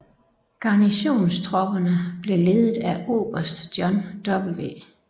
Garnisonstropperne blev ledet af oberst John W